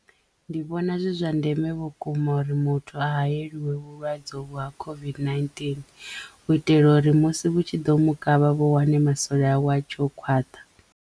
Ndi vhona zwi zwa ndeme vhukuma uri muthu a hayeliwe vhulwadze uvhu ha COVID-19 u itela uri musi vhu tshi ḓo mukavha vhu wane masole awe a tshe o khwaṱha.